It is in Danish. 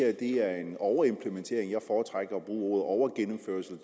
at det her er en overimplementering jeg foretrækker at bruge ordet overgennemførelse